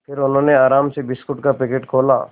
फिर उन्होंने आराम से बिस्कुट का पैकेट खोला